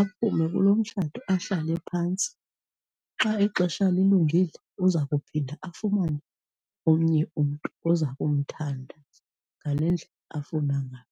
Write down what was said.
aphume kuloo mtshato, ahlale phantsi. Xa ixesha lilungile uza kuphinda afumane omnye umntu oza kumthanda ngale ndlela afuna ngayo.